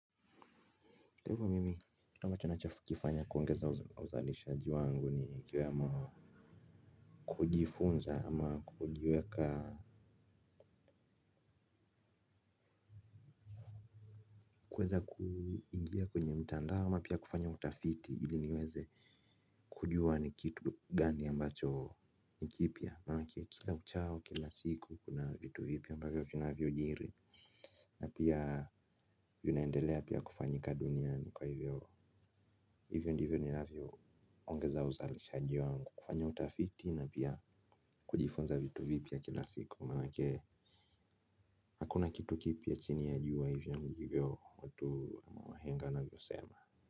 Hivo mimi, kitu ambacho nacho kifanya kuongeza uzalishaji wangu ni kiwemo. Kujifunza ama kujweka kuweza kuingia kwenye mtandao ama pia kufanya utafiti ili niweze kujua ni kitu gani ambacho nikipya, manake kila uchao kila siku kuna vitu vipya ambavyo vinavyo jiri. Na pia vinaendelea pia kufanyika duniani kwa hivyo. Hivyo ndivyo ninavyo ongeza uzalishaji wangu kufanya utafiti na pia kujifunza vitu vipya kila siku manake hakuna kitu kipya chini ya jua hivyo ndivyo watu wahenga navyo sema.